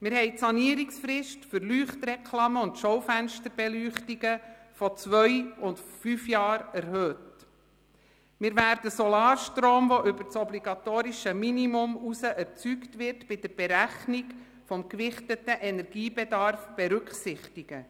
Die Sanierungsfrist für Leuchtreklamen und Schaufensterbeleuchtungen haben wir von zwei auf fünf Jahre erhöht, und wir werden Solarstrom, der über das obligatorische Minimum hinaus erzeugt wird, bei der Berechnung des gewichteten Energiebedarfs berücksichtigen.